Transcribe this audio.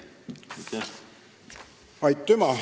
Aitüma!